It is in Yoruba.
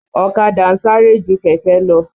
Ọ̀kadà ń sáré ju kẹ̀kẹ́ lọ.